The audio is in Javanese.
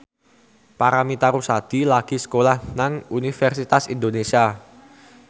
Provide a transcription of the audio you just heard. Paramitha Rusady lagi sekolah nang Universitas Indonesia